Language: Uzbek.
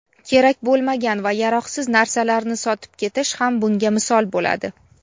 kerak bo‘lmagan va yaroqsiz narsalarni sotib ketish ham bunga misol bo‘ladi.